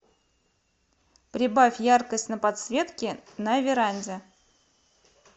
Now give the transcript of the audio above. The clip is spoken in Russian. прибавь яркость на подсветке на веранде